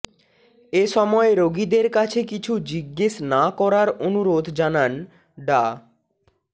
এসময় রোগীদের কাছে কিছু জিজ্ঞেস না করার অনুরোধ জানান ডা